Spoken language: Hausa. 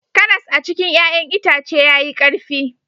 Karas a cikin ya'yan itace yayi karfi